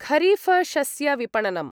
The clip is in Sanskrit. खरीफशस्यविपणनम्